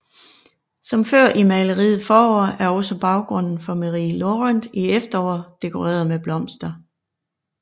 Som før i maleriet Forår er også baggrunden for Méry Laurent i Efterår dekoreret med blomster